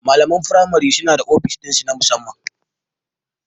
Malamai na firamare suna da ofis ɗinsu na musamman.